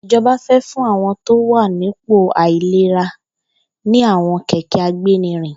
Ijọbà fè fùn awọn tó wà nipó áilérà ni awọn kẹkẹ àgbénírìn